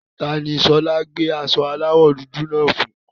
Ta ni Ṣọlá gbé aṣọ aláwọ̀ dúdú náà fún?